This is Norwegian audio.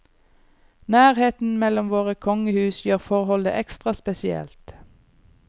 Nærheten mellom våre kongehus gjør forholdet ekstra spesielt.